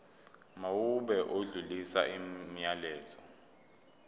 mawube odlulisa umyalezo